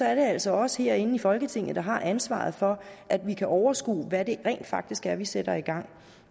er det altså os herinde i folketinget der har ansvaret for at vi kan overskue hvad det rent faktisk er vi sætter i gang og